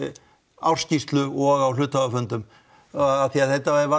ársskýrslu og á hluthafafundum af því að þetta var